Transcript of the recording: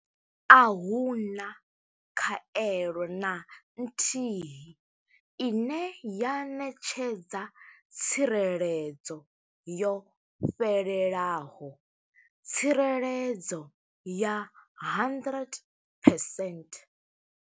A hu na khaelo na nthihi ine ya ṋetshedza tsireledzo yo fhelelaho tsireledzo ya 100 percent.